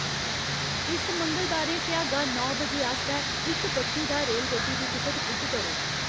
इस मंगलबारें भ्यागा नौ बजे आस्तै इक बक्खी दा रेलगड्डी दी टिकट बुक करो